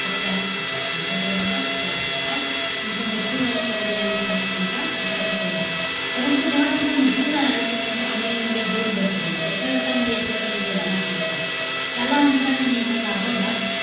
सत्यार्थ प्रकाश. कोणता ग्रंथ होता? सत्यार्थ प्रकाश. त्यांचा मृत्यू झाला, स्वामी दयानंद सरस्वतींचा, अठराशे त्र्यांशी ला. परंतु, जेव्हा त्यांचा मृत्यू झाल्यानंतर, त्यांच्या अनुयायांमध्ये दोन गट पडले. त्या एका गटामध्ये येतात. ते म्हणजे लाला हंसराय. लाला हंसराय यांनी ना लाहोरला,